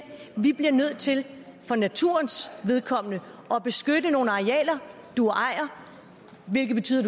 vi bliver nødt til for naturens vedkommende at beskytte nogle arealer du ejer hvilket betyder